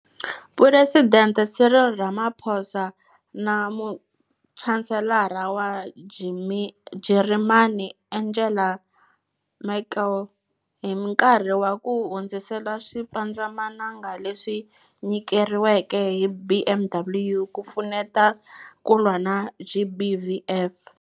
Phuresidente Cyril Ramaphosa na Muchanselara wa Jarimani Angela Merkel hi nkarhi wa ku hundzisela swipandzamananga leswi nyikeriweke hi BMW ku pfuneta ku lwa na GBVF.